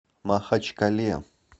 махачкале